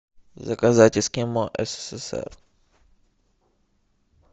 заказать эскимо ссср